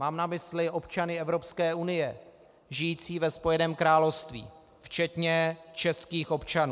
Mám na mysli občany Evropské unie žijící ve Spojeném království, včetně českých občanů.